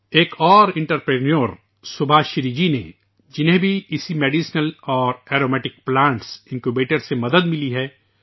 ایک اور کاروباری سبھاشری جی نے اسی میڈیکل اور ارومیٹک پلانٹ انکیوبیٹر سے بھی مدد لی ہے